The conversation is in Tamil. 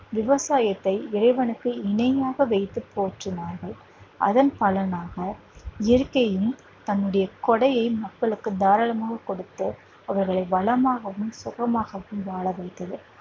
விவசாயத்தை இறைவனுக்கு இணையாக வைத்து போற்றினார்கள் அதன் பலனாக இயற்கையும் தன்னுடைய கொடையை மக்களுக்கு தாராளமாக கொடுத்து அவர்களை வளமாகவும் சுகமாகவும் வாழ வைத்தது